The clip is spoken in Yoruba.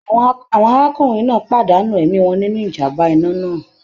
Àwọn arákùnrin náà pàdánù ẹ̀mí wọn nínú ìjàm̀bá iná náà.